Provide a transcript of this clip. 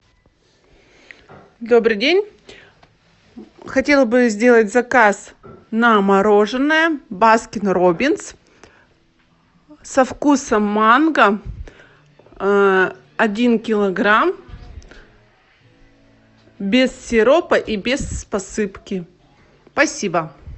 добрый день хотела бы сделать заказ на мороженое баскин роббинс со вкусом манго один килограмм без сиропа и без посыпки спасибо